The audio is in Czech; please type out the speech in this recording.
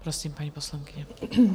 Prosím, paní poslankyně.